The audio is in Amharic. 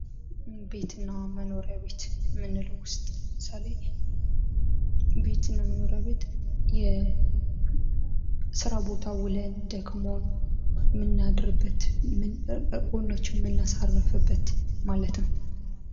ቤትና መኖሪያ ቤት የምንለው ዉስጥ ለምሳሌና ቤትና መኖሪያ ቤት የስራ ቦታ ውለን ደግሞ የምናድርበት ጎናችንን የምናሳርፍበት ማለት ነው።